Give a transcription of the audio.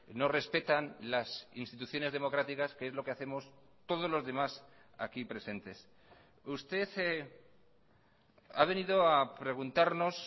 no respetan las instituciones democráticas que es lo que hacemos todos los demás aquí presentes usted ha venido a preguntarnos